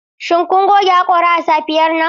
Shin kun goge haƙora a safiyar nan?